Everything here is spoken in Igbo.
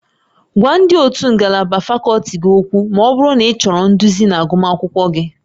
Gwa ndị ótú ngalaba fakọlti gị okwu ma ọ bụrụ na ịchọrọ nduzi na agụmakwụkwọ gị